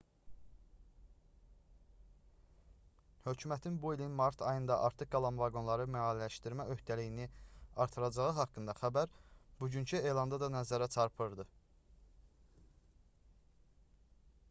hökumətin bu ilin mart ayında artıq qalan vaqonları maliyyələşdirmə öhdəliyini artıracağı haqqında xəbər bugünkü elanda da nəzərə çarpdırdı